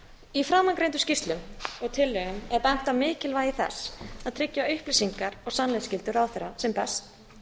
í framangreindum skýrslum og tillögum er bent á mikilvægi þess að tryggja upplýsinga og sannleiksskyldu ráðherra sem best